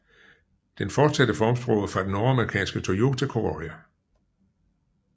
Den fortsatte formsproget fra den nordamerikanske Toyota Corolla